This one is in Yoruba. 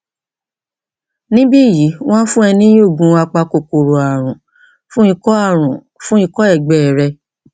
níbí yìí wọn á fún ọ ní oògùn apakòkòrò ààrùn fún ikọ ààrùn fún ikọ ẹgbẹ rẹ